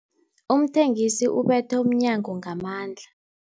Umthengisi ubethe umnyango ngamandla.